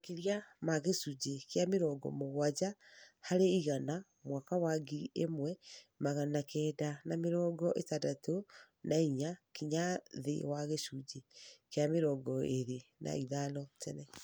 makĩria ma gĩcunjĩ kĩa mĩrongo mũgwanja harĩ igana mwaka wa ngiri ĩmwe magana kenda na mĩrongo ĩtandatũ na inya nginya thĩ wa gĩcunjĩ kĩa mĩrongo ĩrĩ na ithano tene